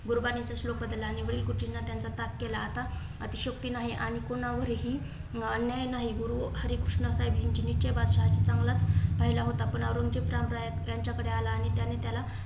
गुरुबाणीतील श्लोक बद्लला आणि . आता अतिशयोक्ती नाही आणि कुणावरही अन्याय नाही. गुरु हरिकृष्ण साहेब बादशाह चांगला पाहिला होता, पण औरंगजेब त्यांच्याकडे आला आणि त्याने त्याला